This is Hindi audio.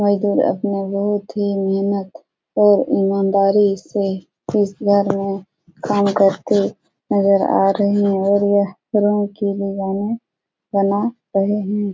मजदूर अपनी बहुत ही मेहनत और ईमानदारी से इस घर मे काम करते नजर आ रहे है और यह रूम की बना रहे हैं।